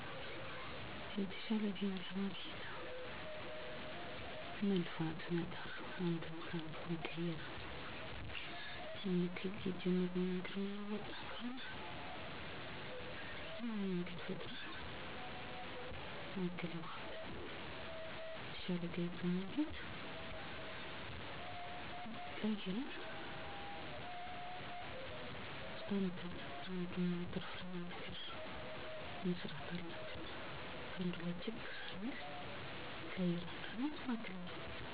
እኔ የመጀመሪያ ስራየ መንገድ ላይ ጉልት ነው አሁንም ይህንን ነው እየሰራሁ የምገኘው በጣም የሚገርመው ነገር አንዱ አንዱን ጥሎ እና ተመራጭ ሆኖ ለመኖር የተለያዩ ዘዴዎችን ይጠቀማል ምሳሌ ተመሳሳይ አቅርቦት ላይ የተወሰኑ ገንዘቦችን በመቀነስ የተሻለ ገቢ ለማግኘት ማለትም እንዴት ተወዳዳሪ መሆን የሚችሉበት ዘዴአቸዉን በየቀኑ ሲቀያይሩ ማየት በጣም ይገርመኛል ዛሬ ማንነትዎን እንዴት ቀረፀው ነገር የተሻለ ነገር መማር መቆጠብ ዘመናዊ የሆኑ አሰራሮች ማስፈን ተወዳዳሪ መሆን የገቢ ምንጭ ማሳደግ ለሀገርም ሆነ ለወገን ተደራሽ እንዲሆን ማድረግ